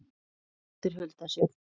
Þín dóttir, Hulda Sjöfn.